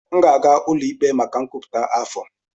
M ga-aga ụlọ ikpe maka nkwupụta afọ.